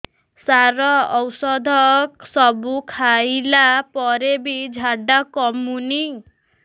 ସାର ଔଷଧ ସବୁ ଖାଇଲା ପରେ ବି ଝାଡା କମୁନି